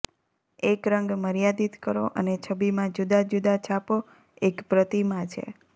એક રંગ મર્યાદિત કરો એક છબીમાં જુદાં જુદાં છાપો એક પ્રતિમા છે